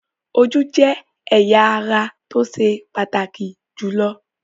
Ojú jẹ́ ẹ̀yà ara tó ṣe pàtàkì jùlọ.